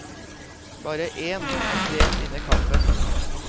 Bare én av tre vinner kampen.